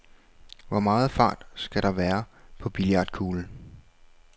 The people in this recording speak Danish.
Hvor meget fart skal der være på billiardkuglen?